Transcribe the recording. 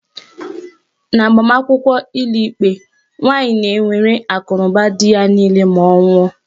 N'agbamakwụkwọ ụlọikpe, nwaanyi na-ewere akụnụba dị ya niile ma ọ nwụọ.